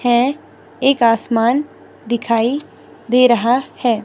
है एक आसमान दिखाई दे रहा है।